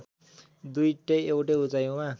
दुईटै एकै उचाइमा